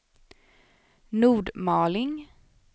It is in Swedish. Nordmaling